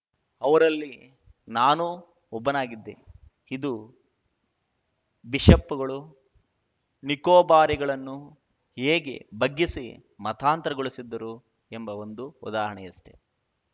ಅವರಲ್ಲಿ ನಾನೂ ಒಬ್ಬನಾಗಿದ್ದೆ ಇದು ಬಿಷಪ್‌ಗಳು ನಿಕೋಬಾರಿಗಳನ್ನು ಹೇಗೆ ಬಗ್ಗಿಸಿ ಮತಾಂತರಗೊಳಿಸಿದ್ದರು ಎಂಬ ಒಂದು ಉದಾಹರಣೆಯಷ್ಟೆ